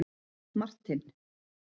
Martin